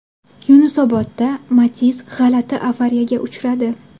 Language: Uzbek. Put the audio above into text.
Yunusobodda Matiz g‘alati avariyaga uchradi.